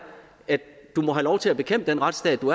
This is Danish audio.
at du må have lov til at bekæmpe den retsstat du